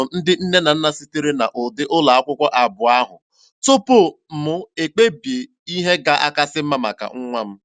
Ajụrụ m ndị nne na nna sitere na ụdị ụlọ akwụkwọ abụọ ahụ tupu m ekpebi ihe ga-akasị mma maka nwa m.